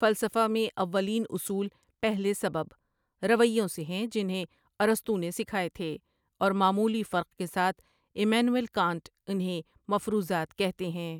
فلسفہ میں اوّلین اصول پہلے سبب ، رویوں سے ہیں جنہیں ارسطو نے سکھائے تھے، اور معمولی فرق کے ساتھ امانوئل کانٹ انہیں مفروضات کہتے ہیں